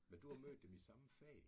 Men du har mødt dem i samme fag